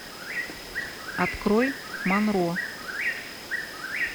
открой монро